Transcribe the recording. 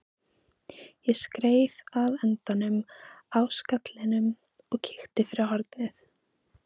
Ég skreið að endanum á stallinum og kíkti fyrir hornið.